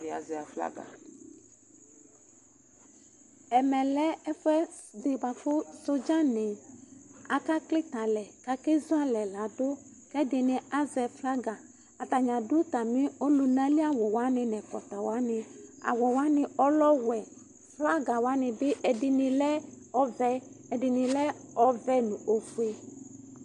Ɛɖi azɛ aflaga Ɛmɛ lɛ ɛfuɛɖi buaku soɖza ni aka klitɛ alɛ Ku ake zualɛ laɖu Ku ɛɖini azɛ flaga Atani aɖu atami ɔlunali awu waní nu ɛkɔtɔ waní Awu waní ɔlɛ ɔwɛ Flaga waní bi, ɛɖini lɛ ɔvɛ, ɛdini lɛ ɔʋɛ nu ofue